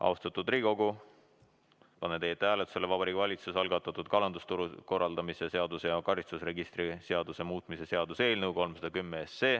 Austatud Riigikogu, panen hääletusele Vabariigi Valitsuse algatatud kalandusturu korraldamise seaduse ja karistusregistri seaduse muutmise seaduse eelnõu 310.